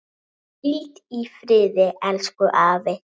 Hvíld í friði, elsku afi.